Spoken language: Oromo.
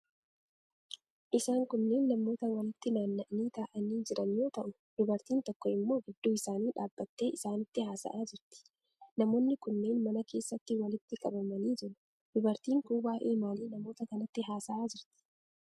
Isaan kunneen namoota walitti naanna'anii taa'anii jiran yoo ta'u, dubartiin tokko immoo gidduu isaanii dhaabbattee isaanitti haasa'aa jirti. Namoonni kunneen mana keessatti walitti qabamanii jiru. Dubartiin kun waa'ee maalii namoota kanatti haasa'aa jirti?